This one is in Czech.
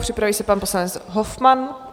Připraví se pan poslanec Hofmann.